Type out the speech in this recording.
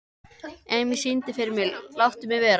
Emý, syngdu fyrir mig „Láttu mig vera“.